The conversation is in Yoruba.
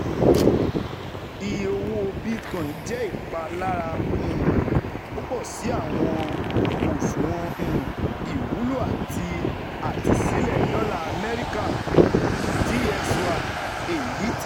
Iye owo Bitcoin jẹ ipalara um pupọ si awọn oṣuwọn um iwulo ati Àtẹ̀sílẹ Dọla AMẸRIKA (DXY), eyiti